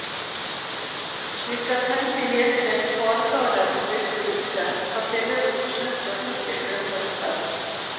De skal tenke helstekt haresadel med friske urter, persillerot, nøtter kokt i fløte og saus.